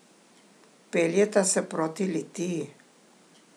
Peljeta se proti Litiji.